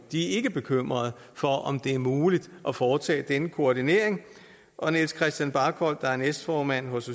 ikke er bekymrede for om det er muligt at foretage denne koordinering og niels christian barkholt der er næstformand hos